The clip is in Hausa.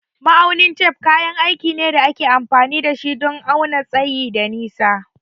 Ma'aunin tef kayan aiki ne da ake amfani da shi don auna tsayi da nisa.